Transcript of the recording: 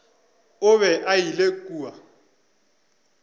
o be a ile kua